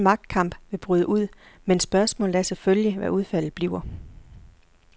Den magtkamp vil bryde ud, men spørgsmålet er selvfølgelig, hvad udfaldet bliver.